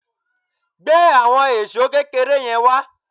Gbé àwọn èṣó kékeré yẹn wá